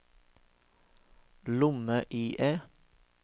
lomme-IE